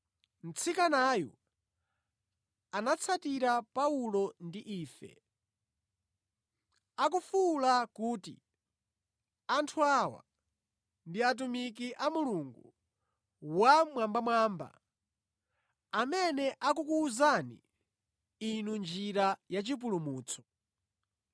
Mtsikanayu anatsatira Paulo ndi ife, akufuwula kuti, “Anthu awa ndi atumiki a Mulungu Wammwambamwamba, amene akukuwuzani inu njira yachipulumutso.”